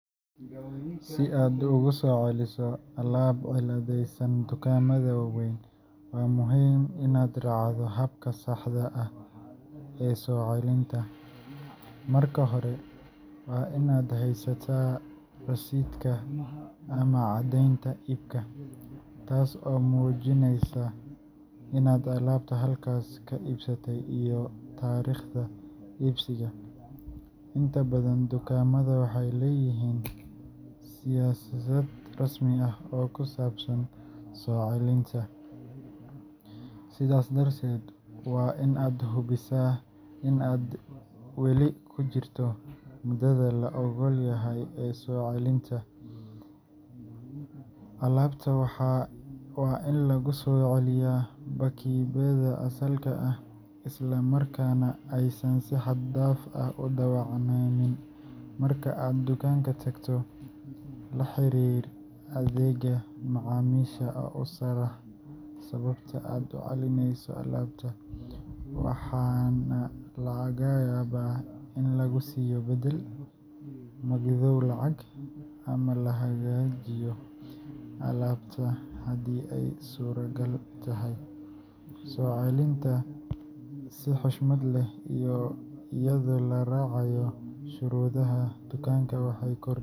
Si aad ugu soo celiso alaab cilladaysan dukaamada waaweyn, waxaa muhiim ah inaad raacdo talaabooyin dhowr ah si aad si sharci ah ugula soo noqoto beddel ama magdhow. Talaabooyinkaas waxaa ka mid ah: Keydi rasiidka receipt – Waa muhiim in aad haysato caddeynta iibka, taas oo muujinaysa taariikhda iyo qiimaha alaabta aad iibsatay. Dib u eeg siyaasadda soo-celinta return policy – Inta badan dukaamada waaweyn waxay leeyihiin siyaasad cad oo qeexaysa muddada iyo shuruudaha lagu soo celin karo alaabta. Hubi in aad weli ku jirto waqtiga loo oggol yahay soo celinta. Ku celi alaabta sidii ay ahayd – Waa in alaabtu ahaataa mid aan la isticmaalin si xad dhaaf ah, islamarkaana lagu soo celiyo xirmadeedii ama Si aad ugu soo celiso alaab cilladaysan dukaamada waaweyn, waa muhiim inaad raacdo habka saxda ah ee soo celinta. Marka hore, waa in aad haysataa rasiidka ama caddeynta iibka, taas oo muujinaysa inaad alaabta halkaas ka iibsatay iyo taariikhda iibsiga. Inta badan dukaamadu waxay leeyihiin siyaasad rasmi ah oo ku saabsan soo celinta, sidaas darteed waa in aad hubisaa in aad weli ku jirto muddada la oggol yahay ee soo celinta. Alaabta waa in lagu soo celiyaa baakidhkeedii asalka ahaa, isla markaana aysan si xad dhaaf ah u dhaawacmin. Marka aad dukaanka tagto, la xiriir adeegga macaamiisha oo u sharax sababta aad u celinayso alaabta, waxaana laga yaabaa in lagu siiyo beddel, magdhow lacageed, ama la hagaajiyo alaabta haddii ay suuragal tahay. Soo celinta si xushmad leh iyo iyadoo la raacayo shuruudaha dukaanka waxay kor.